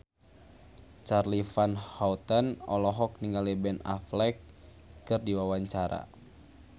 Charly Van Houten olohok ningali Ben Affleck keur diwawancara